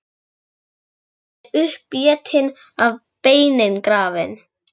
Rjúpan er uppétin og beinin grafin.